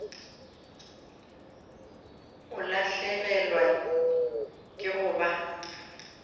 o lahlegelwa ke go ba